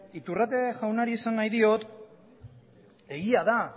iturrate jaunari esan nahi diot egia da